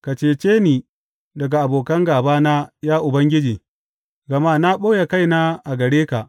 Ka cece ni daga abokan gābana, ya Ubangiji, gama na ɓoye kaina a gare ka.